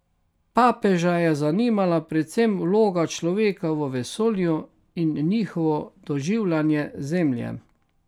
Papeža je zanimala predvsem vloga človeka v vesolju in njihovo doživljanje Zemlje.